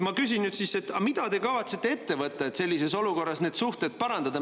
Ma küsin nüüd, et aga mida te kavatsete ette võtta, et sellises olukorras neid suhteid parandada.